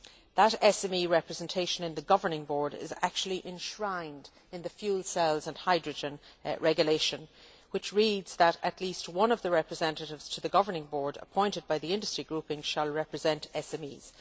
That SME representation in the governing board is actually enshrined in the fuel cells and hydrogen regulation which reads that at least one of the representatives to the Governing Board appointed by the Industry Grouping shall represent SMEs'.